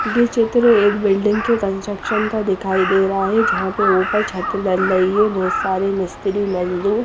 ये चित्र एक बिल्डिंग के कंस्ट्रकशन का दिखाई दे रहा है जहा पर ऊपर छत बन रही है बोहोत सारे मिस्त्री --